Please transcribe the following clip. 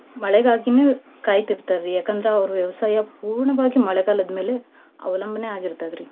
ಮಳೆಗಾಗಿನೇ ಕಾಯ್ತಿರ್ತಾರ್ರಿ. ಯಾಕಂದ್ರ ಅವ್ರ್ ವ್ಯವಸಾಯ ಪೂರ್ಣವಾಗಿ ಮಳೆಗಾಲದ್ ಮೇಲೆ ಅವಲಂಬನೆ ಆಗಿರ್ತದ್ರಿ.